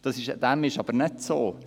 Dem ist aber nicht so.